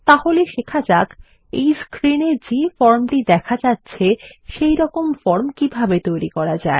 তাহলে শেখা যাক এই স্ক্রিনে যে ফর্ম টি দেখা যাচ্ছে সেইরকম ফর্ম কিভাবে তৈরী করা যায়